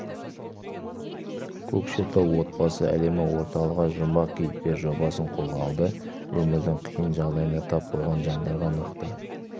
көкшетауда отбасы әлемі орталығы жұмбақ кейіпкер жобасын қолға алды өмірдің қиын жағдайына тап болған жандарға нақты